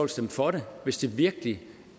stemme for det hvis det virkelig